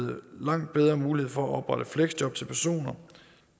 langt bedre mulighed for at oprette fleksjob til personer